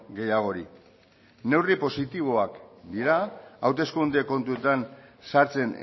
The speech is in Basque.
gehiagori neurri positiboak dira hauteskunde kontuetan sartzen